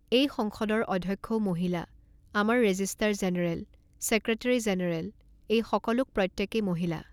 এই সংসদৰ অধ্যক্ষও মহিলা, আমাৰ ৰেজিষ্টাৰ জেনেৰেল, চেক্ৰেটেৰী জেনেৰেল এইসকলোক প্ৰত্যেকেই মহিলা।